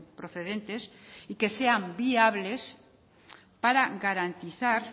procedentes y que sean viables para garantizar